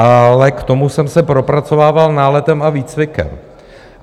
Ale k tomu jsem se propracovával náletem a výcvikem.